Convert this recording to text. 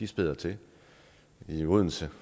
spæder til i odense